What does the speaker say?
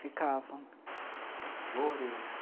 Ficavam. Flores?